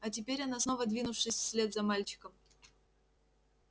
а теперь она снова двинувшись вслед за мальчиком